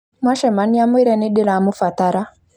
Mwacemania mwĩre nĩndĩramũbatara